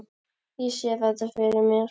Ég sé þetta fyrir mér.